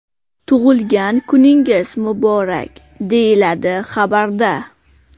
Tug‘ilgan kuningiz muborak!”, deyiladi xabarda.